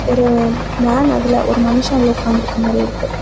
ஒரு மேன் அதுல ஒரு மனுஷன் உள்ள உட்காந்து இருக்குற மாதிரி இருக்கு.